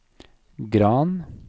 Gran